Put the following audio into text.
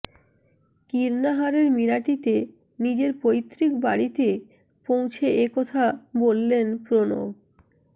কীর্ণাহারের মিরাটিতে নিজের পৈতৃক বাড়িতে পৌঁছে এ কথা বললেন প্রণব